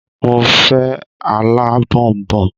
Mo fẹ́ alábọ̀nbọ̀n